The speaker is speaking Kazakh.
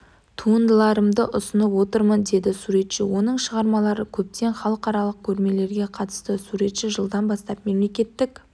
туындыларымды ұсынып отырмын деді суретші оның шығармалары көптеген халықаралық көрмелерге қатысты суретші жылдан бастап мемлекеттік